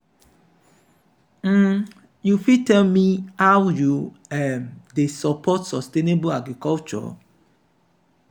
um you fit tell me how you um dey support sustainable agriculture?